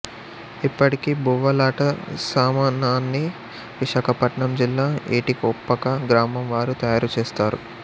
ఇప్పటికీ బువ్వాలట సామానాన్ని విశాఖపట్నం జిల్లా ఏటికొప్పక గ్రామం వారు తయారుచేస్తారు